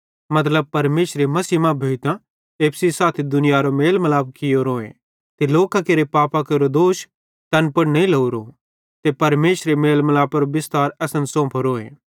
मतलब परमेशरे मसीह मां भोइतां एप्पू सेइं साथी दुनियारो मेल मिलाप कियोरोए ते लोकां केरे पापां केरो दोष तैन पुड़ नईं लोरो ते परमेशरे मेल मलापेरो बिस्तार असन सौंफोरोए